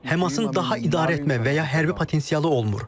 Həmasın daha idarə etmə və ya hərbi potensialı olmur.